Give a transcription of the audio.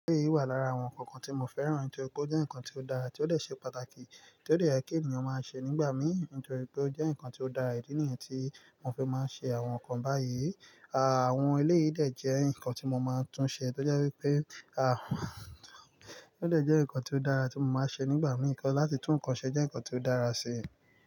Eleyi wà lára àwọn ǹkan kan tí mo fẹ́ràn, nítorí pé ó jẹ́ ǹkan tí ó dára, tí ó lè ṣe pàtàkì, tí ó lè jẹ́ kí ènìyàn máa ṣe nígbà mí nítorí pé ó jẹ́ ǹkan tí ó dára. Ìdí nìyẹn tí mo fi máa ń ṣe àwọn ǹkan báyìí. Àwọn eleyi ìdè jẹ́ ǹkan tí mo máa tún ṣe, torí pé àwọn ilé ìdè jẹ́ ǹkan tí ó dára tí mo máa ṣe nígbà mí, láti tún ǹkan ṣe jẹ́ ǹkan tí ó dára sí i.